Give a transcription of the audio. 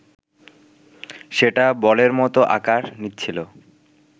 সেটা বলের মতো আকার নিচ্ছিল